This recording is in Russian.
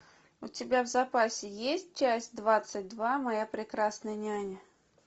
у тебя в запасе есть часть двадцать два моя прекрасная няня